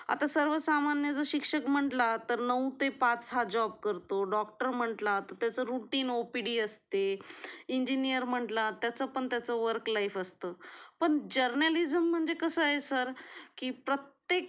आता सर्व सामान्य जर शिक्षक म्हंटलं तर नऊ ते पाच हां जॉब करतो, डॉक्टर म्हण्टलं तर त्याचं रूटीन ओपीडी असते, इंजीनिअर म्हंटलं त्याचं पण त्याच वर्क लाइफ असतं पण जर्नालिझम म्हणजे कसं आहे सर की प्रत्येक